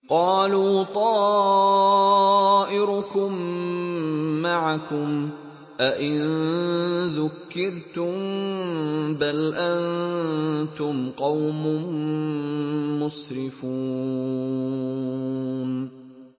قَالُوا طَائِرُكُم مَّعَكُمْ ۚ أَئِن ذُكِّرْتُم ۚ بَلْ أَنتُمْ قَوْمٌ مُّسْرِفُونَ